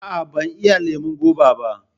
Aa, ban iya lemon goba ba